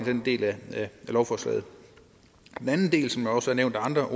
den del af lovforslaget den anden del som også er nævnt af andre